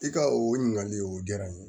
I ka o ɲininkali o diyara n ye